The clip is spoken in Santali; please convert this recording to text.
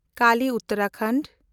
ᱠᱟᱞᱤ - ᱩᱛᱟᱨᱟᱯᱷᱳᱨᱴ